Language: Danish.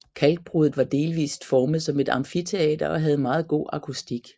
Kalkbruddet var delvist formet som et amfiteater og havde meget god akustik